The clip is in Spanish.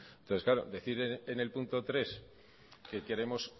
entonces claro decir en el punto tres que queremos